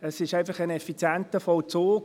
es ist einfach ein effizienter Vollzug.